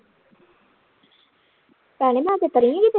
ਭੇਣੇ ਮੈਂ ਚਤਰੀ ਕਿਤੇ